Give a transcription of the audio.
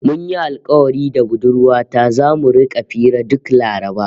Mun yi alkawari da budurwa ta zamu rika hira duk Laraba